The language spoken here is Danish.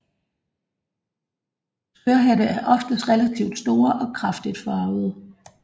Skørhatte er oftest relativt store og kraftigt farvede